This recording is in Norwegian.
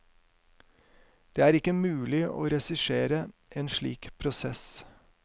Det er ikke mulig å regissere en slik prosess.